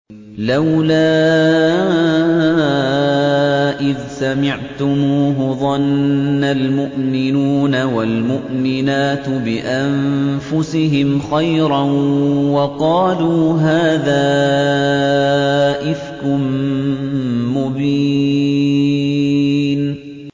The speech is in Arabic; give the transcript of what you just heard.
لَّوْلَا إِذْ سَمِعْتُمُوهُ ظَنَّ الْمُؤْمِنُونَ وَالْمُؤْمِنَاتُ بِأَنفُسِهِمْ خَيْرًا وَقَالُوا هَٰذَا إِفْكٌ مُّبِينٌ